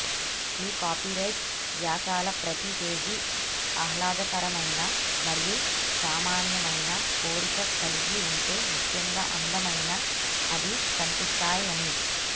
మీ copyright వ్యాసాల ప్రతి పేజీ ఆహ్లాదకరమైన మరియు సామాన్యమైన కోరిక కలిగి ఉంటే ముఖ్యంగా అందమైన అది కనిపిస్తాయని